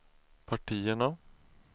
partierna